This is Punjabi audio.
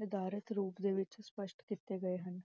ਨਿਰਦਾਤ੍ਰਿਤ ਰੂਪ ਦੇ ਵਿਚ ਸਪਸ਼ਟ ਕੀਤੇ ਗਏ ਸਨ